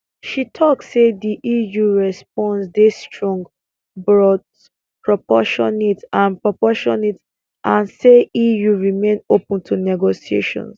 she tok say di eu response dey strong but proportionate and proportionate and say eu remain open to negotiations